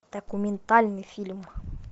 документальный фильм